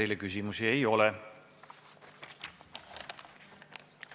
Teile küsimusi ei ole.